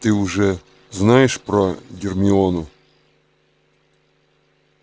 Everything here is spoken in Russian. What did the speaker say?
ты уже знаешь про гермиону